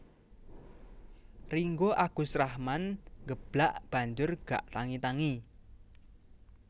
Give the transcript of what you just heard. Ringgo Agus Rahman nggeblak banjur gak tangi tangi